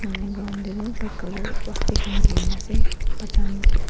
etu ground te tu white colour plastic khan Giri ni ase batcha khan--